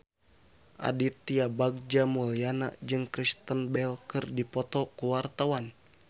Aditya Bagja Mulyana jeung Kristen Bell keur dipoto ku wartawan